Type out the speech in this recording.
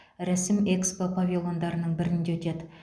рәсім экспо павильондарының бірінде өтеді